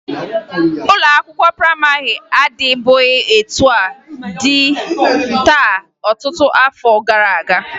Ụlọ akwụkwọ prayịmarị adịbughi etu ọ dị taa ọtụtụ afọ gara aga